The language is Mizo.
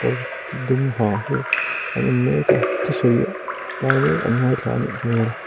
dum ha hi an en mek a thusawi lai mek an ngaithla a nih hmel.